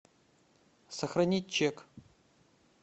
сохранить чек